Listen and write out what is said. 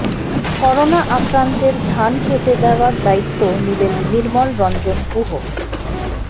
corona আক্রান্তের ধান কেটে দেওয়ার দায়িত্ব নিলেন নির্মল রঞ্জন গুহ